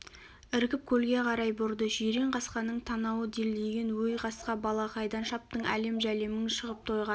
іркіп көлге қарай бұрды жирен қасқаның танауы делдиген өй қасқа бала қайда шаптың әлем-жәлемің шығып тойға